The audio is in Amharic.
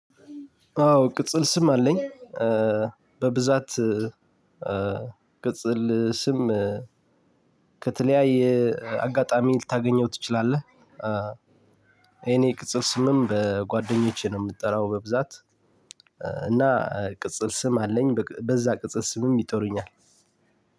አዎ ቅጽል ስም አለኝ በብዛት ቅጽል ስም ከተለያየ አጋጣሚ ልታገኘው ትችላለህ የኔ ቅጽል ስምም በጓደኞቼ ነው የምጠራው። በብዛት እና ቅጽል ስም አለኝ በዛ ቅጽል ስምም ይጠሩኛል።